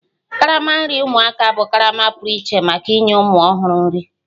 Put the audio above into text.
Karama nri ụmụaka bụ karama pụrụ iche maka inye ụmụ ọhụrụ nri